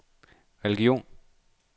religion